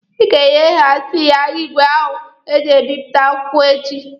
Ị ga-enyehasi ya igwe ahụ eji ebipụta akwụkwọ echi!